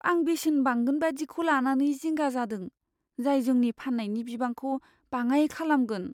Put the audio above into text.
आं बेसेन बांगोनबादिखौ लानानै जिंगा जादों, जाय जोंनि फाननायनि बिबांखौ बाङाइ खालामगोन।